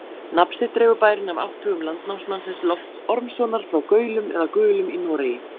Nafn sitt dregur bærinn af átthögum landnámsmannsins Lofts Ormssonar frá Gaulum eða Gulum í Noregi.